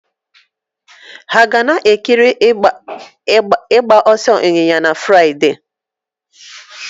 Hà ga na-ekiri ịgba ọsọ ịnyịnya na Fraịde?